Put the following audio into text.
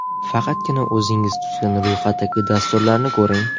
Faqatgina o‘zingiz tuzgan ro‘yxatdagi dasturlarni ko‘ring.